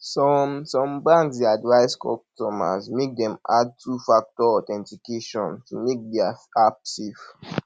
some some banks dey advice customers make dem add two factor authentication to make their app safe